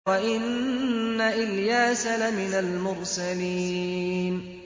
وَإِنَّ إِلْيَاسَ لَمِنَ الْمُرْسَلِينَ